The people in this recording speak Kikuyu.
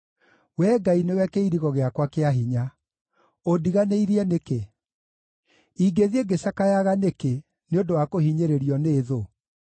Wee Ngai nĩwe kĩirigo gĩakwa kĩa hinya. Ũndiganĩirie nĩkĩ? Ingĩthiĩ ngĩcakayaga nĩkĩ nĩ ũndũ wa kũhinyĩrĩirio nĩ thũ?